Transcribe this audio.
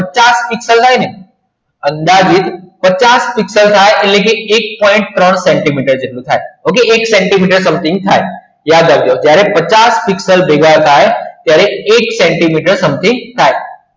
આઠ પીક્સલ થાય ને કદાચ અદાજીત પચાસ થાય એટલે કે ઍક point ત્રણ સેન્ટીમીટર જેટલું થાય okay એક સેન્ટિમીટર complete થાય યાદ રાખજો જ્યારે પચાસ ભેગા થાય ત્યારે એક સેન્ટિમીટર થાય